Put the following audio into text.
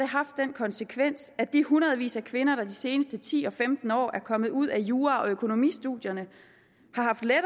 haft den konsekvens at de hundredvis af kvinder der seneste ti og femten år er kommet ud af jura og økonomistudierne